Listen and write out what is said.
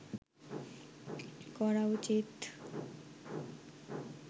করা উচিৎ